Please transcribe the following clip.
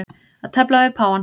Að tefla við páfann